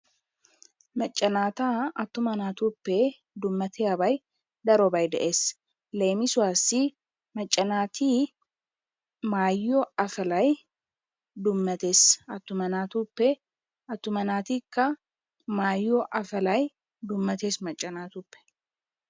Macca naata attuma naatuppe dummayiyabay darobay de'ees. Leemisuwassi macca naati maayiyo afalay dummatees. Attuma naatuppe attuma naatikka maayiyo afalay dummaters macca naatuppe.